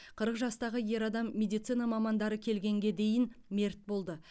қырық жастағы ер адам медицина мамандары келгенге дейін мерт болды